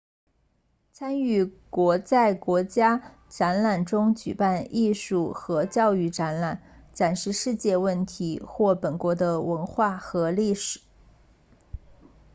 参与国在国家展馆中举办艺术和教育展览展示世界问题或本国的文化和历史